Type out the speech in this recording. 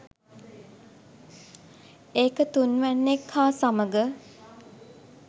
ඒක තුන්වැන්නෙක් හා සමග